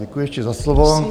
Děkuji ještě za slovo.